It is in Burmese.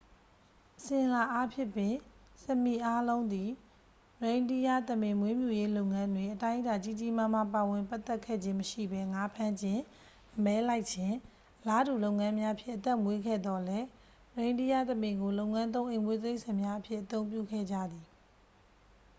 အစဉ်အလာအားဖြင့်ပင် စမီ အားလုံးသည် ရိန်းဒီးယားသမင် မွေးမြူရေးလုပ်ငန်းတွင် အတိုင်းအတာ ကြီးကြီးမားမား ပါဝင်ပတ်သက်ခဲ့ခြင်းမရှိဘဲ ငါးဖမ်းခြင်း အမဲလိုက်ခြင်း အလားတူလုပ်ငန်းများဖြင့် အသက်မွေးခဲ့သော်လည်း ရိန်းဒီးယားသမင်ကို လုပ်ငန်းသုံးအိမ်မွေးတိရိစ္ဆာန်များအဖြစ် အသုံးပြုခဲ့ကြသည်